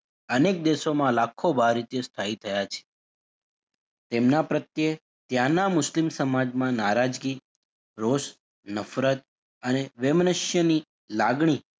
અનેક દેશોમાં લાખો બાર આ રીતે સ્થાયી થયા છે તેમનાં પ્રત્યે ત્યાંના મુસ્લિમ સમાજમાં નારાજગી, રોષ, નફરત અને વૈમ્યનસ્યની લાગણી,